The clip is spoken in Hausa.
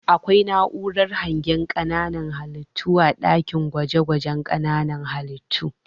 Akwai na'urar hangen ƙananan halittu a ɗakin gwaje-gwaje ƙananan halittu.